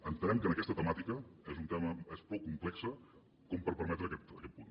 entenem que aquesta temàtica és prou complexa per permetre aquest punt